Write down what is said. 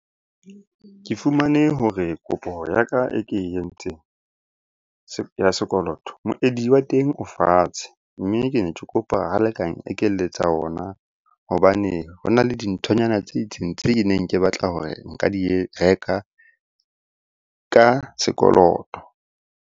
Ke fumane hore kopo ya ka e ke entseng ya sekoloto, moedi wa teng o fatshe. Mme ke ne ke kopa ho leka ekeletsa ona hobane ho na le dinthonyana tse itseng tse neng ke batla hore nka di reka ka sekoloto.